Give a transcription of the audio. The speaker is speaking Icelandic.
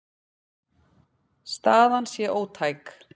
Staðan sé ótæk.